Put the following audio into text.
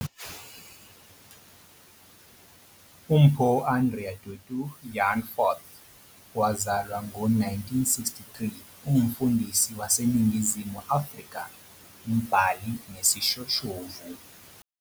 UMpho Andrea Tutu van Furth, owazalwa ngo-1963, ungumfundisi waseNingizimu Afrika, umbhali nesishoshovu.